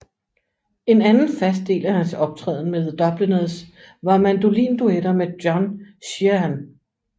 En anden fast del af hans optræden med The Dubliners var mandolinduetter med John Sheahan